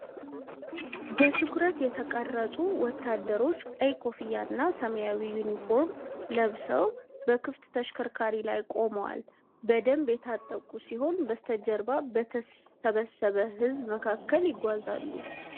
በትኩረት የተቀረጹ ወታደሮች ቀይ ኮፍያና ሰማያዊ ዩኒፎርም ለብሰው በክፍት ተሽከርካሪ ላይ ቆመዋል። በደንብ የታጠቁ ሲሆኑ፣ በስተጀርባ በተሰበሰበ ሕዝብ መካከል ይጓዛሉ።